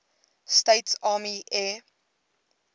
states army air